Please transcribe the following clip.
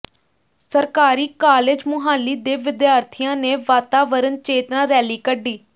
ਸਰਕਾਰੀ ਕਾਲਜ ਮੁਹਾਲੀ ਦੇ ਵਿਦਿਆਰਥੀਆਂ ਨੇ ਵਾਤਾਵਰਨ ਚੇਤਨਾ ਰੈਲੀ ਕੱਢੀ